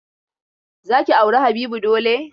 Za ki auri Habibu dole!